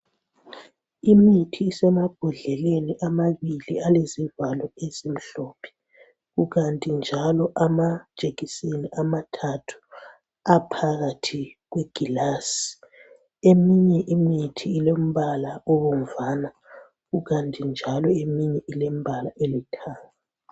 Imithi isemabhodleleni amabili alezivalo ezimhlophe kukanti njalo amajekiseni amathathu aphakathi kwegilazi. Eminye imithi ilembala ebomvana kukanti eminye ilembala elithanga .